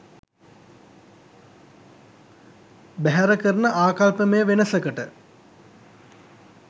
බැහැර කරන ආකල්පමය වෙනසකට